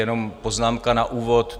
Jenom poznámka na úvod.